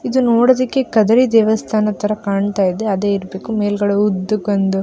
ಇದು ನೋಡೋದಿಕ್ಕೆ ಕದರಿ ದೇವಸ್ಥಾನದ ತರ ಕಾಣ್ತಾಯಿದೆ ಅದೆ ಇರ್ಬೇಕು ಮೇಲ್ಗಡೆ ಉದ್ದಕ್ಕೆ ಒಂದು --